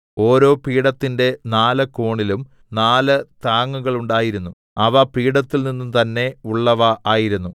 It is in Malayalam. ഓരോ പീഠത്തിന്റെ നാല് കോണിലും നാല് താങ്ങുകളുണ്ടായിരുന്നു അവ പീഠത്തിൽനിന്ന് തന്നെ ഉള്ളവ ആയിരുന്നു